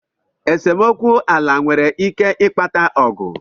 Esemokwu ala nwere ike ịkpata Ọgụ.